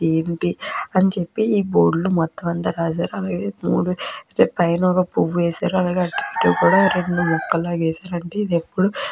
అని చెప్పి ఈ బోర్డు లో మొత్తం అంతా రాశారు. అలాగే పైన పువ్వు ఒకటి వేశారు. అలాగే చుట్టూ రెండు మొక్కలు లాగా వేసారు. --